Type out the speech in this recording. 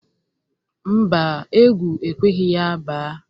Mba, egwu ekweghi ya ba.